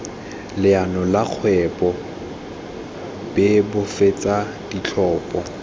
leano la kgwebo bebofatsa ditlhopho